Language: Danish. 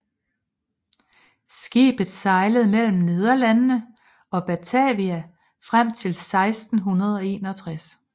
Skibet sejlede mellem Nederlandene og Batavia frem til 1661